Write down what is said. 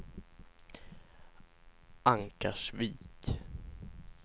Ankarsvik